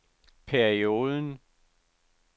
perioden